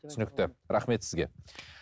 түсінікті рахмет сізге